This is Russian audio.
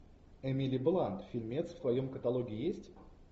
эмили блант фильмец в твоем каталоге есть